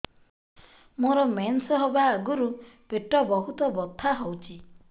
ମୋର ମେନ୍ସେସ ହବା ଆଗରୁ ପେଟ ବହୁତ ବଥା ହଉଚି